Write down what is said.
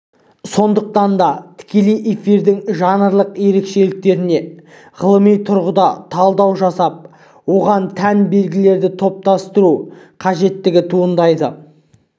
сондықтан да тікелей эфирдің жанрлық ерекшеліктеріне ғылыми тұрғыда талдау жасап оған тән белгілерді топтастыру қажеттігі туындайды